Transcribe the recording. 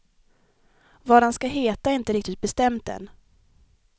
Vad han ska heta är inte riktigt bestämt än.